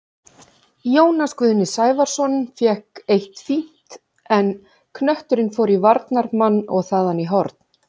Jónas Guðni Sævarsson fékk eitt fínt, en knötturinn fór í varnarmann og þaðan í horn.